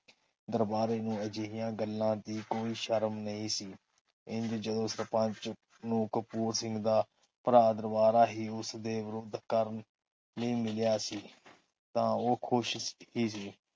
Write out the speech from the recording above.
ਦਰਬਾਰੇ ਨੂੰ ਅਜਿਹੀਆਂ ਗੱਲਾਂ ਦੀ ਕੋਈ ਸ਼ਰਮ ਨਹੀਂ ਸੀ। ਇੰਝ ਜਦੋ ਸਰਪੰਚ ਨੂੰ ਕਪੂਰ ਸਿੰਘ ਦਾ ਭਰਾ ਦਰਬਾਰਾ ਹੀ ਉਸਦੇ ਵਿਰੁੱਧ ਕਰਨ ਲਈ ਮਿਲਿਆ ਸੀ। ਤਾ ਉਹ ਖੁਸ਼ ਹੀ ਸੀ